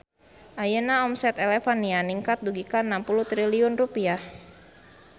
Ayeuna omset Elevania ningkat dugi ka 60 triliun rupiah